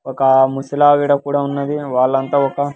ఒక ముసిలావిడ కూడా ఉన్నది వాళ్ళంతా ఒక--